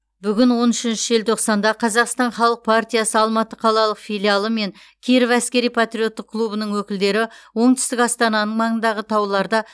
бүгін он үшінші желтоқсанда қазақстан халық партиясы алматы қалалық филиалы мен киров әскери патриоттық клубының өкілдері оңтүстік астананың маңындағы тауларда